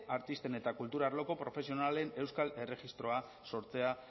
artisten eta kultur arloko profesionalen erregistroa sortzea